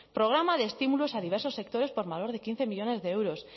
programa de estímulos a diversos sectores por valor de quince millónes de euros